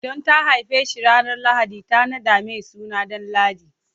Don ta haife shi ranar lahadi, ta naɗa mai suna Danladi.